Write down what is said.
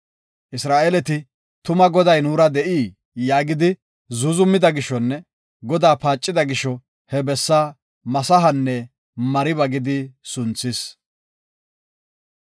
Isra7eeleti, “Tuma Goday nuura de7ii?” yaagidi zuuzumida gishonne Godaa paacida gisho he bessa Masahanne Mariba gidi sunthis.